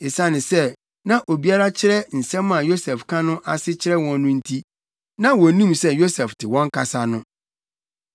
Esiane sɛ na obi kyerɛ nsɛm a Yosef ka no ase kyerɛ wɔn no nti, na wonnim sɛ Yosef te wɔn kasa no.